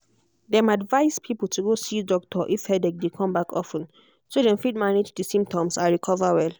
dem advise people to go see doctor if headache dey come back of ten so dem fit manage di symptoms and recover well.